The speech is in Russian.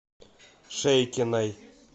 шейкиной